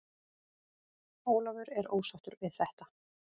Ólafur er ósáttur við þetta.